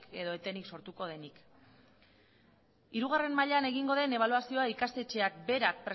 edo etenik sortuko denik hirugarren mailan egingo den ebaluazioa ikastetxeak berak